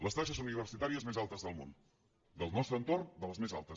les taxes universitàries més altes del món del nostre entorn de les més altes